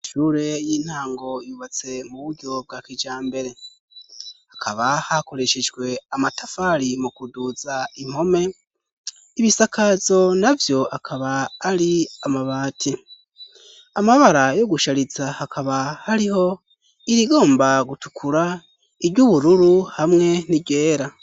Ishure y'intango yubatse mu buryo bwa kijambere hakaba hakoreshejwe amatafari mu kuduza impome. Ibisakazo navyo akaba ari amabati, amabara yo gushariza hakaba hariho irigomba gutukura, iry'ubururu hamwe n'iryera.